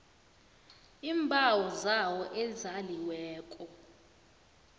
iimbawo zabo ezaliweko